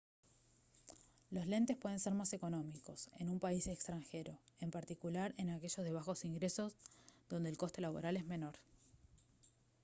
los lentes pueden ser más económicos en un país extranjero en particular en aquellos de bajos ingresos donde el coste laboral es menor